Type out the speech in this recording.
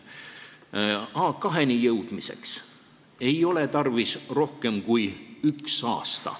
A2-ni jõudmiseks ei ole tarvis rohkem aega kui üks aasta.